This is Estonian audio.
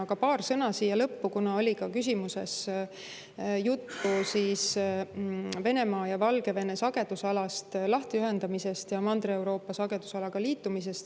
Aga paar sõna siia lõppu, kuna küsimuses oli ka juttu Venemaa ja Valgevene sagedusalast lahtiühendamisest ja Mandri-Euroopa sagedusalaga liitumisest.